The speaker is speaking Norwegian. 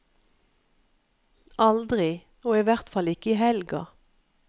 Aldri, og i hvert fall ikke i helga.